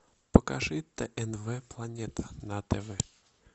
покажи тнв планета на тв